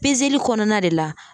kɔnɔna de la